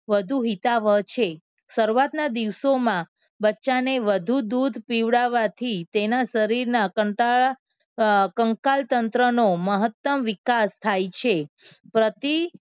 વધુ હિતાવહ છે. શરૂઆતના દિવસોમાં બચ્ચાને વધુ દૂધ પીવડાવવાથી તેના શરીરના કંટાળા કંકાલતંત્રનું મહત્તમ વિકાસ થાય છે. પ્રતિ